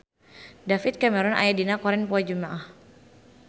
David Cameron aya dina koran poe Jumaah